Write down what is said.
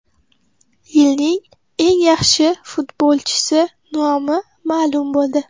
Yilning eng yaxshi futbolchisi nomi ma’lum bo‘ldi.